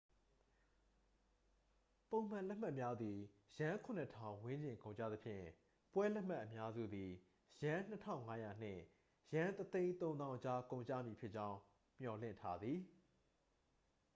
ပုံမှန်လက်မှတ်များသည် ယန်း 7,000 ဝန်းကျင်ကုန်ကျသဖြင့် ပွဲလက်မှတ်အများစုသည် ယန်း 2,500 နှင့် ယန်း 130,000 အကြား ကုန်ကျမည်ဖြစ်ကြောင်း မျှော်လင့်ထားသည်